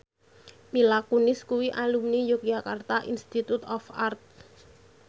Mila Kunis kuwi alumni Yogyakarta Institute of Art